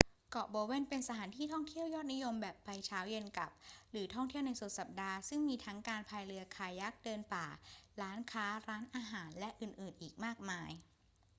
เกาะโบเวนเป็นสถานที่ท่องเที่ยวยอดนิยมแบบไปเช้าเย็นกลับหรือท่องเที่ยวในสุดสัปดาห์ ซึ่งมีทั้งการพายเรือคายัค เดินป่า ร้านค้า ร้านอาหาร และอื่นๆ อีกมากมาย